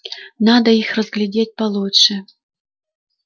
надо их разглядеть получше